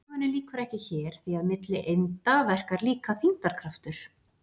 sögunni lýkur ekki hér því að milli einda verkar líka þyngdarkraftur